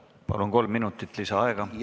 Palun, kolm minutit lisaaega!